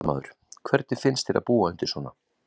Fréttamaður: Hvernig finnst þér að búa undir svona?